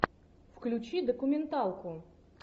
включи документалку